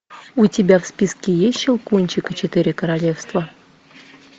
у тебя в списке есть щелкунчик и четыре королевства